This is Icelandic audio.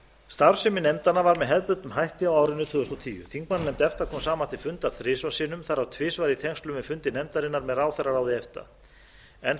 starfsemi nefndanna var með hefðbundnum hætti á árinu tvö þúsund og tíu þingmannanefnd efta kom saman til fundar þrisvar sinnum þar af tvisvar í tengslum við fundi nefndarinnar með ráðherraráði efta enn